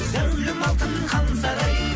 зәулім алтын хан сарай